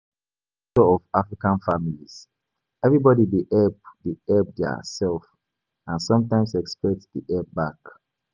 Because of di nature of African families, everybody dey help dey help their self and sometimes expect di help back